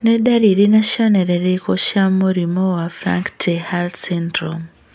Nĩ ndariri na cionereria irĩkũ cia mũrimũ wa Frank Ter Haar syndrome?